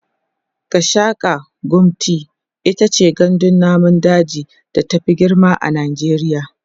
Gashaka-gumti itace gandun namun daji da ta Fi girma a najeriya